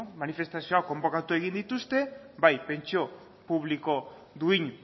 manfestazioak konbokatu egin dituzte bai pentsio publiko duin